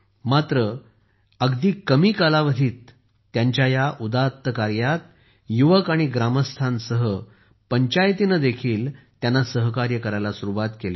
मात्र अगदी कमी कालावधीतच त्यांच्या या उदात्त कार्यात युवक व ग्रामस्थांसह पंचायतीने देखील त्यांना सहकार्य करायला सुरुवात केली